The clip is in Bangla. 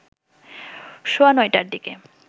সোয়া ৯টার দিকে